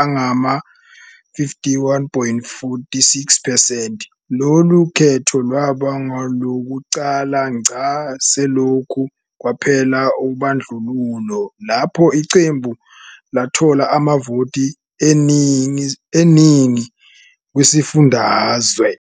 angama-51.46 percent. Lolu khetho lwaba ngolokuqala ngqa selokhu kwaphela ubandlululo lapho iqembu lathola amavoti eningi kwisifundazwe.